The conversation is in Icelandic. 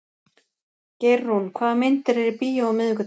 Geirrún, hvaða myndir eru í bíó á miðvikudaginn?